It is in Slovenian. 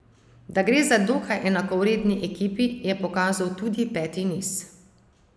Da gre za dokaj enakovredni ekipi, je pokazal tudi peti niz.